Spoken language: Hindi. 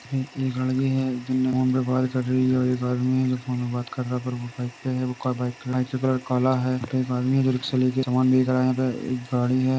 है एक लड़की है जीने फ़ोन पे बात कर रही है और एक आदमी है जो फ़ोन पे बात कर रहा है पर वह बाइक पे है | बाइक कलर काला है | एक आदमी है जो रिक्शा लेके समान बेच रहा है | यहाँ पे एक गाड़ी है।